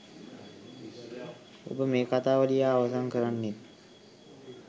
ඔබ මේ කතාව ලියා අවසන් කරන්නෙත්